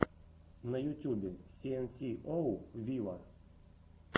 на ютюбе си эн си оу виво